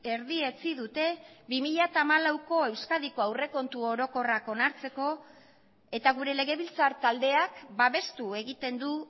erdietsi dute bi mila hamalaueko euskadiko aurrekontu orokorrak onartzeko eta gure legebiltzar taldeak babestu egiten du